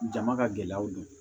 Jama ka gɛlɛyaw don